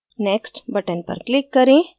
next button पर click करें